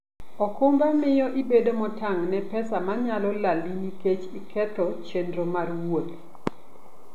okumba miyo ibedo motang' ne pesa manyalo lalni nikech iketho chenro mar wuoth.